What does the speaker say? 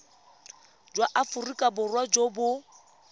jwa aforika borwa jo bo